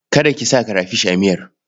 Kada ki sa karafish a miyar.